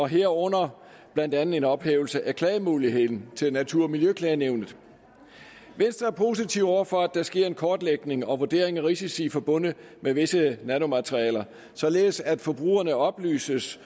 herunder blandt andet en ophævelse af klagemuligheden til natur og miljøklagenævnet venstre er positiv over for at der sker en kortlægning og en vurdering af risici forbundet med visse nanomaterialer således at forbrugerne oplyses